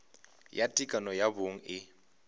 ya tekano ya bong e